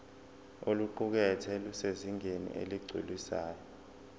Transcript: oluqukethwe lusezingeni eligculisayo